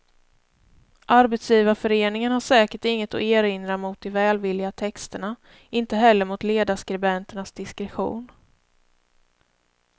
Arbetsgivarföreningen har säkert inget att erinra mot de välvilliga texterna, inte heller mot ledarskribenternas diskretion.